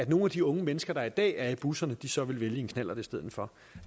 nogle af de unge mennesker der i dag er i busserne så vil vælge knallert i stedet for